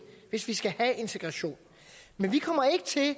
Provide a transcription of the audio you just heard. hvis vi skal have integration men vi kommer ikke til at